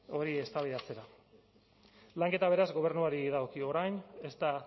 hori eztabaidatzera lanketa beraz gobernuari dagokio orain ez da